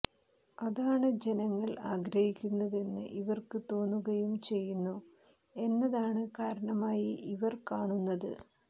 അതാണ് ജനങ്ങൾ ആഗ്രഹിക്കുന്നതെന്ന് ഇവർക്കു തോന്നുകയും ചെയ്യുന്നു എന്നതാണ് കാരണമായി ഇവർ കാണുന്നത്